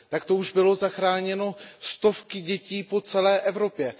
Takto už byly zachráněno stovky dětí po celé Evropě.